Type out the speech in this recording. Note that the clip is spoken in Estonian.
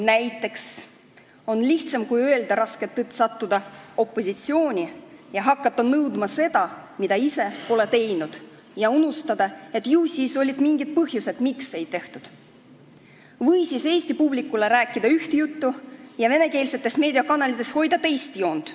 Näiteks on tõe ütlemise asemel lihtsam sattuda opositsiooni ja hakata nõudma seda, mida ise pole ära teinud, ja unustada, et ju siis olid mingid põhjused, miks ei tehtud, või rääkida eesti publikule üht juttu ja venekeelsetes meediakanalites hoida teist joont.